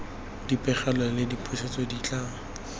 dipegelo le dipusetso di tla